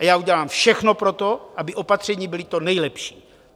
A já udělám všechno pro to, aby opatření byla to nejlepší.